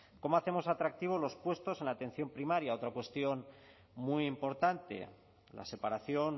cómo hacemos atractivos los puestos en la atención primaria otra cuestión muy importante la separación